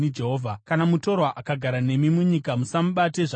“ ‘Kana mutorwa akagara nemi munyika, musamubate zvakaipa.